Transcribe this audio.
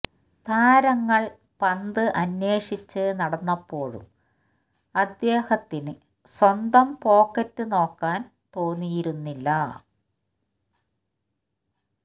താരങ്ങള് പന്ത് അന്വേഷിച്ച് നടന്നപ്പോഴും അദ്ദേഹത്തിന് സ്വന്തം പോക്കറ്റ് നോക്കാന് തോന്നിയിരുന്നില്ല